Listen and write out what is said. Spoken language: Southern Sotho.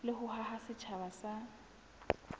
le ho haha setjhaba sa